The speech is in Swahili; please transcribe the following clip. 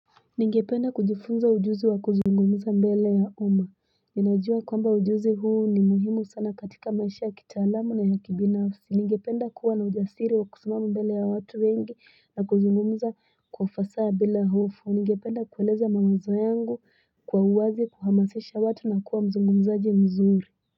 Ningependa kujifunza ujuzi wa kuzungumuza mbele ya uma Ninajua kwamba ujuzi huu ni muhimu sana katika maisha ya kitaalamu na ya kibinafsi Ningependa kuwa na ujasiri wa kusimama mbele ya watu wengi na kuzungumuza kwa fasaha bila hofu Ningependa kueleza mawazo yangu kwa uwazi kuhamasisha watu na kuwa mzungumzaji mzuri.